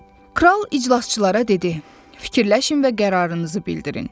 Kral iclasçılara dedi: Fikirləşin və qərarınızı bildirin.